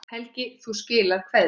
Helgi, þú skilar kveðju.